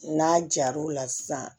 N'a jar'o la sisan